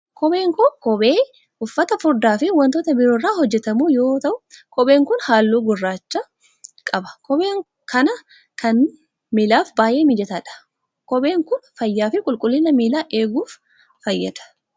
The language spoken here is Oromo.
Kopheen kun, kophee uffata furdaa fi wantoota biroo irraa hojjatamu yoo ta'u, kopheen kun haalluu gurraacha qaba. Kopheen akka kanaa kun miilaaf baay'ee mijataadha. Kopheen kun, fayyaa fi qulqullina miilaa eeguuf fayyada.